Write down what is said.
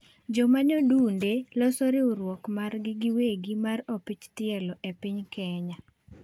joma nyodunde loso riwruok margi giwegi mar opich tielo e piny kenya